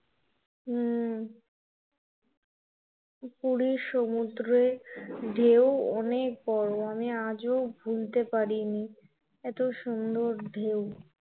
হম পুরীর সমুদ্রের ঢেউ অনেক বড়, আমি আজও ভুলতে পারিনি, এত সুন্দর ঢেউ